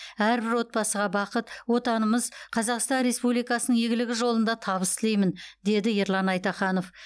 әрбір отбасыға бақыт отанымыз қазақстан республикасының игілігі жолында табыс тілеймін деді ерлан айтаханов